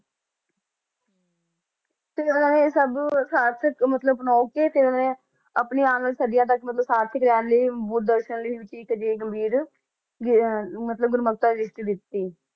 ਤੇ ਜਿਹੜਾ ਇਹ ਸਭ ਸਾਰਥਕ ਮਤਲਬ ਆਪਣੇ ਆਉਣ ਵਾਲੀ ਸਦੀਆਂ ਤੱਕ ਮਤਲਬ ਸਾਰਥਕ ਰਹਿਣ ਲਈ ਬੁੱਧ ਦਰਸ਼ਨ ਮਤਲਬ ਦੀ ਦ੍ਰਿਸ਼ਟੀ ਦਿੱਤੀ